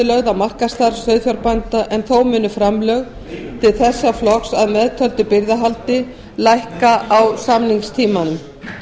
á markaðsstarf sauðfjárbænda en þó munu framlög til þessa flokks að meðtöldu birgðahaldi lækka á samningstímanum